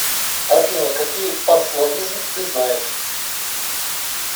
афина какие панславизм ты знаешь